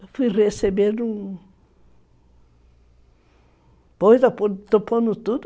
Eu fui receber um... Pô, eu estou pondo tudo